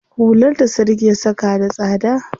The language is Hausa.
Hular da Sadiq ya saka da tsada.